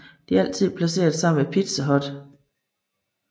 De er altid placeret sammen med Pizza Hut